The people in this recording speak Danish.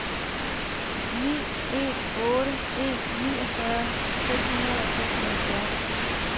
ni en otte en niogfyrre seks hundrede og seksoghalvfjerds